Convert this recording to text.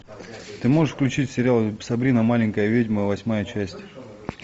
ты можешь включить сериал сабрина маленькая ведьма восьмая часть